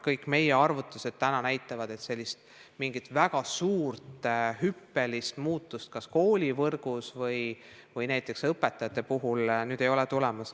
Kõik meie arvutused näitavad, et mingit väga suurt hüppelist muutust koolivõrgus ega näiteks õpetajate puhul tulemas ei ole.